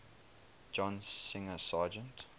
john singer sargent